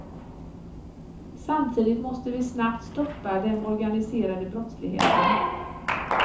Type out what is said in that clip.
Samtidigt måste vi snabbt stoppa den organiserade brottsligheten.